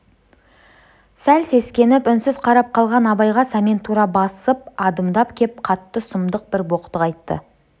сәл сескеніп үнсіз қарап қалған абайға сәмен тура басып адымдап кеп қатты сұмдық бір боқтық айтты